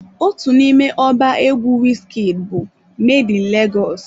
Otu n'ime ọba egwu Wizkid bụ "Made in Legọs"